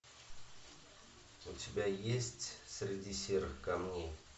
у тебя есть среди серых камней